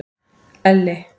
Elli